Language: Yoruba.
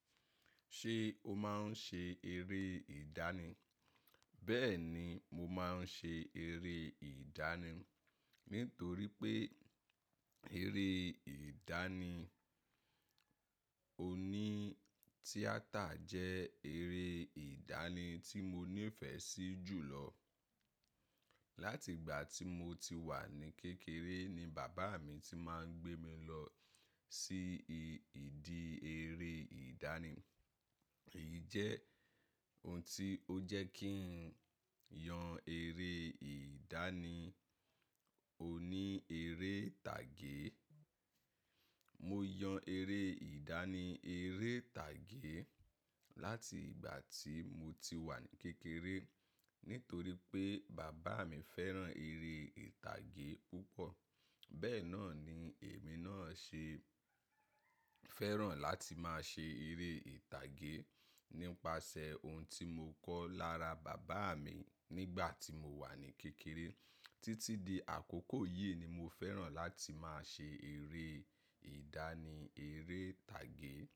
Ṣé o máa ń ṣe eré ìdánì? Bẹ́ẹ̀ni, mo máa ń ṣe eré ìdánì. Nítorí pé eré ìdánì oní tíátà jẹ́ eré ìdánì tí mo nífẹ̀ẹ́ sí jù lọ. Látìgbà tí mo ti wà ní kékeré ni bàbá mi ti máa ń gbé mi lọ sí ìdí eré ìdánì. Èyí jẹ́ ohun tí ó jẹ́ kí n yan eré ìdánì oní eré ìtàgé. Mo yan eré ìdánì eré ìtàgé láti ìgbà tí mo ti wà ní kékeré. Nítorí pé bàbá mi fẹ́ràn eré ìtàgé púpọ̀. Bẹ́ẹ̀ náà ni èmi náà ṣe fẹ́ràn láti máa ṣe eré ìtàgé. Nípasẹ̀ ohun tí mo kọ́ lára bàbá mi nígbà tí mo wà ní kékeré títí di àkókò yìí ni mo fẹ́ràn láti máa ṣe eré ìdánì eré ìtàgé.